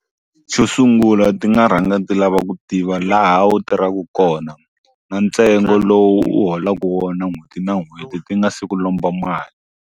Xo sungula ti nga rhanga ndzi lava ku tiva laha wu tirhaka kona na ntsengo lowu u holaka wona n'hweti na n'hweti ti nga si ku lomba mali.